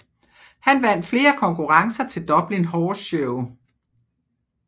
Han vandt flere konkurrencer til Dublin Horse Show